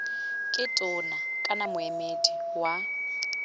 ke tona kana moemedi wa